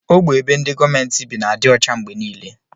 Ogbe ebe ndi gọọmenti bi n'adi ọcha mgbe nile.